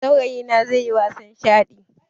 Saurayina zaiyi wasan shaɗi